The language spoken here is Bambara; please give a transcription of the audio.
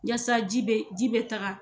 Wasa ji bɛ ji bɛ taga.